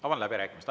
Avan läbirääkimised.